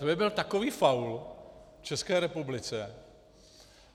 To by byl takový faul České republice...